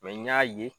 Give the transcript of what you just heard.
n y'a ye